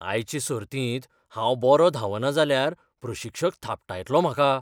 आयचे सर्तींत हांव बरो धांवना जाल्यार प्रशिक्षक थापटायतलो म्हाका.